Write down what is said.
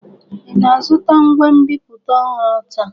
Ị na-azụta ngwa nbipute ọhụrụ taa?